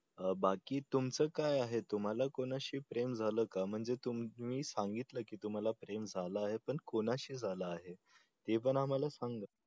अं बाकी तुमचं काय आहे तुम्हाला कोणाशी प्रेम झालं का म्हणजे तुम्ही सांगितलं की तुम्हाला प्रेम झालं आहे पण कोणाशी झालं आहे हे पण आम्हाला सांगा